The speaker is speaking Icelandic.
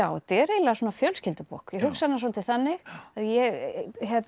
þetta er eiginlega fjölskyldubók ég hugsa hana svolítið þannig ég